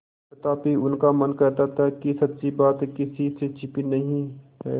तथापि उनका मन कहता था कि सच्ची बात किसी से छिपी नहीं है